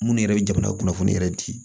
Minnu yɛrɛ bɛ jamana kunnafoni yɛrɛ di